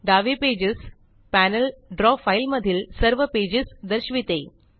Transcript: डावे pages panel द्रव file मधील सर्व पेजेस दर्शविते